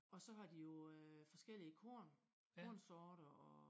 Og så har de jo øh forskellige korn kornsorter og